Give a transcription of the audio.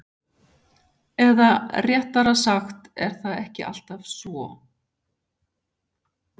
Eða réttara sagt er það ekki alltaf svo?